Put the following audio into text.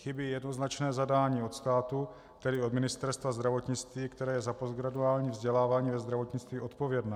Chybí jednoznačné zadání od státu, tedy od Ministerstva zdravotnictví, které je za postgraduální vzdělávání ve zdravotnictví odpovědné.